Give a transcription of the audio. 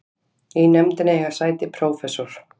Í nefndinni eiga sæti prófessor